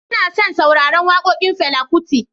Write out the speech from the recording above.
Ina son sauraron wakokin Fela Kuti.